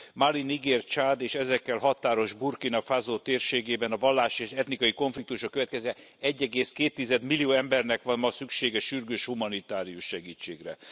Mali, Niger, Csád és az ezekkel határos Burkina Faso térségében a vallási és etnikai konfliktusok következtében 1,2 millió embernek van ma szüksége sürgős humanitárius segítségre.